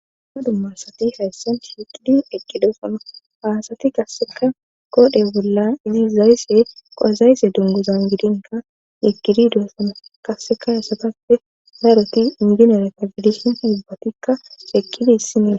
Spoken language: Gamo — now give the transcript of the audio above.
Ama dummarsati hayssan heqidi eqqidosono aasati qasseka kodhe bollan izi zaysse qo7a zaysse dongozan gidinka yekidi doessana qasseka hesatappe daaroti inginore ka fidishin hibbatikka eqqidi hissinien